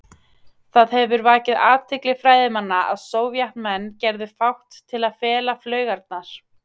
Það hefur vakið athygli fræðimanna að Sovétmenn gerðu fátt til að fela flaugarnar.